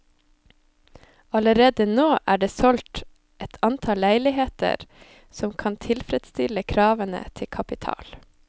Allerede nå er det solgt et antall leiligheter som kan tilfredsstille kravene til kapital.